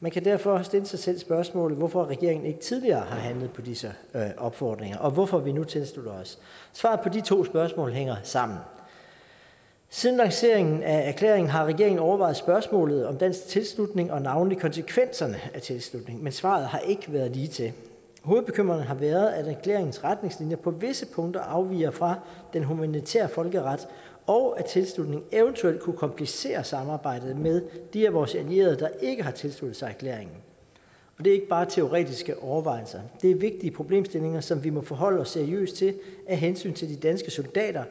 man kan derfor stille sig selv spørgsmålet hvorfor regeringen ikke tidligere har handlet på disse opfordringer og hvorfor vi nu tilslutter os svaret på de to spørgsmål hænger sammen siden lanceringen af erklæringen har regeringen overvejet spørgsmålet om dansk tilslutning og navnlig konsekvenserne af tilslutningen men svaret har ikke været ligetil hovedbekymringen har været at erklæringens retningslinjer på visse punkter afviger fra den humanitære folkeret og at tilslutningen eventuelt kunne komplicere samarbejdet med de af vores allierede der ikke har tilsluttet sig erklæringen det er ikke bare teoretiske overvejelser det er vigtige problemstillinger som vi må forholde os seriøst til af hensyn til de danske soldater